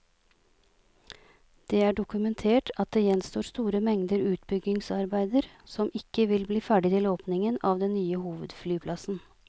Det er dokumentert at det gjenstår store mengder utbyggingsarbeider som ikke vil bli ferdig til åpningen av den nye hovedflyplassen.